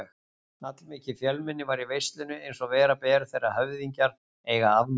Allmikið fjölmenni var í veislunni eins og vera ber þegar höfðingjar eiga afmæli.